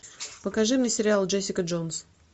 покажи мне сериал джессика джонс